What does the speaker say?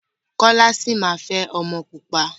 Kọ́lá sì máa fẹ́ ọmọ pupa.